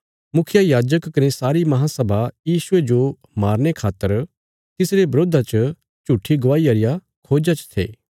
मुखियायाजक कने सारी महांसभा यीशुये जो मारने खातर तिसरे बरोधा च झूट्ठी गवाहिया रिया खोज्जा च थे